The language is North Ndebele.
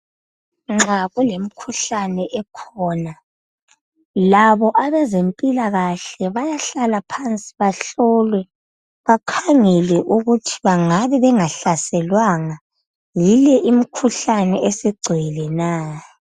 Nxa kulemikhuhlane ekhona labo abezempilakahle bayahlala phansi bahlolwe bakhangelwe ukuthi bangabe bengahlaselwanga yile imikhuhlane esigcwele na.